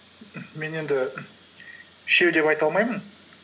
мен енді үшеу деп айта алмаймын